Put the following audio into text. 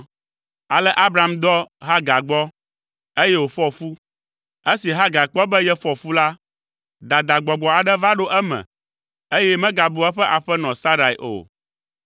Ale Abram dɔ Hagar gbɔ, eye wòfɔ fu. Esi Hagar kpɔ be yefɔ fu la, dadagbɔgbɔ aɖe va ɖo eme, eye megabua eƒe aƒenɔ Sarai o.